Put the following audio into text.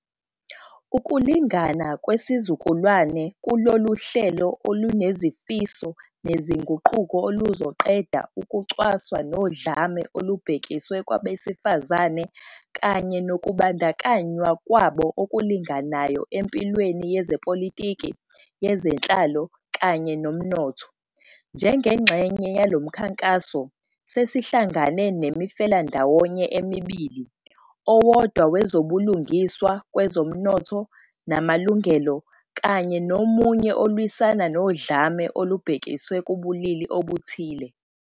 Ukulingana Kwesizukulwana kuluhlelo olunezifiso nezinguquko oluzoqeda ukucwaswa nodlame olubhekiswe kwabesifazane kanye nokubandakanywa kwabo okulinganayo empilweni yezepolitiki, yezenhlalo kanye nomnotho. Njengengxenye yalo mkhankaso, sesihlangane 'neMifelandawonye' emibili, owodwa wezobulungiswa kwezomnotho namalungelo kanye nomunye olwisana nodlame olubhekiswe kubulili obuthile.